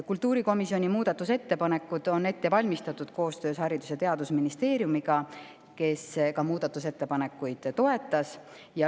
Kultuurikomisjoni muudatusettepanekud on ette valmistatud koostöös Haridus- ja Teadusministeeriumiga, kes ka neid ettepanekuid toetas.